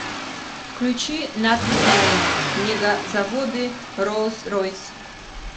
включи нат гео мегазаводы роллс ройс